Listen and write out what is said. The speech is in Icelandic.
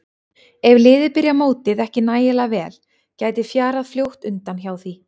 Ef liðið byrjar mótið ekki nægilega vel gæti fjarað fljótt undan hjá því.